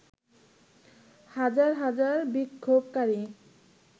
হাজার হাজার বিক্ষোভকারী